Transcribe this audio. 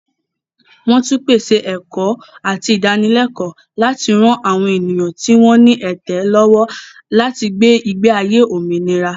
Wọ́n tún pèsè ẹ̀kọ́ àti ìdánilẹ́kọ̀ọ́ láti ran àwọn ènìyàn tí wọ́n ní ẹ̀tẹ̀ lọ́wọ́ láti gbé ìgbé ayé òmìnira.